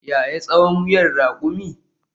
Yaya tsawon wuyan rakumi?